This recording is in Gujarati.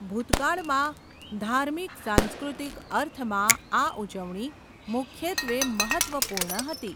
ભૂતકાળમાં, ધાર્મિક સાંસ્કૃતિક અર્થમાં આ ઉજવણી મુખ્યત્વે મહત્ત્વપૂર્ણ હતી.